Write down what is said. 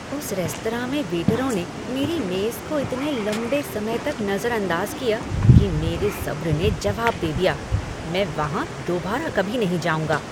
उस रेस्तरां में वेटरों ने मेरी मेज़ को इतने लंबे समय तक नजरअंदाज किया कि मेरे सब्र ने जवाब दे दिया। मैं वहाँ दोबारा कभी नहीं जाऊँगा।